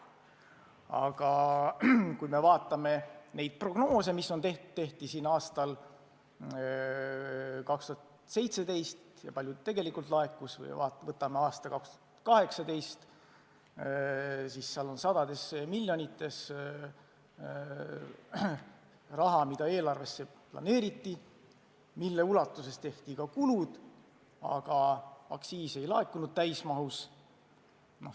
Aga kui me vaatame neid prognoose, mis tehti aastal 2017, ja seda, kui palju tegelikult laekus, siis näeme, et aastal 2018 planeeriti eelarvesse sadu miljoneid, mille ulatuses tehti ka kulud, aga aktsiise täismahus ei laekunud.